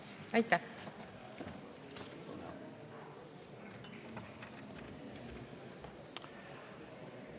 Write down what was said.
Aitäh!